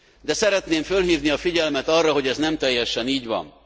De szeretném fölhívni a figyelmet arra, hogy ez nem teljesen így van.